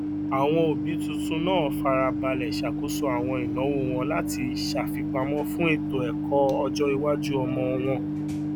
àwọn òbí tuntun náà fara balẹ ṣàkóso àwọn ináwó wọn láti ṣàfipamọ fún ètò ẹkọ ọjọ iwájú ọmọ wọn